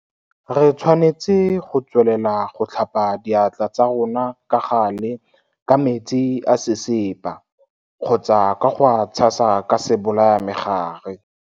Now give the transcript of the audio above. Re tshwanetse go tswelela go tlhapa diatla tsa rona ka gale ka metsi a sesepa kgotsa ka go a tshasa ka sebolayamegare.